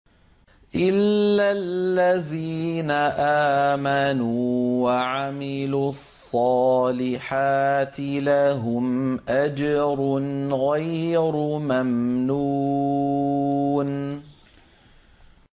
إِلَّا الَّذِينَ آمَنُوا وَعَمِلُوا الصَّالِحَاتِ لَهُمْ أَجْرٌ غَيْرُ مَمْنُونٍ